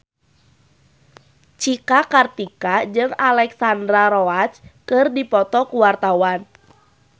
Cika Kartika jeung Alexandra Roach keur dipoto ku wartawan